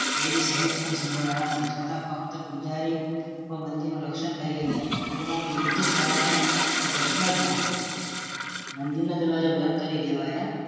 એવી સહેજ પણ સંભાવના ન હતી છતાં ફક્ત પૂજારી મંદિર નું રક્ષણ કરી રહ્યા હતા પરિણામે યુદ્ધ થવાનો પ્રશ્નજ ન હતો મંદિરના દરવાજો બંધ કરી દેવાય